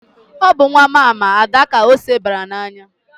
Ọ bụ nwa mama Ada ka ose bara n'anya.